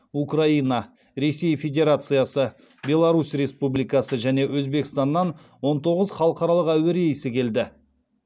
украина ресей федерациясы беларусь республикасы және өзбекстаннан он тоғыз халықаралық әуе рейсі келді